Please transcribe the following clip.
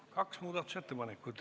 Kaks muudatusettepanekut.